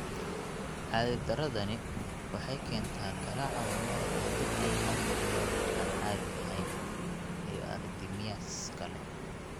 Caadi-darradani waxay keentaa garaaca wadnaha oo degdeg ah oo aan caadi ahayn (tachycardia) iyo arrhythmias kale.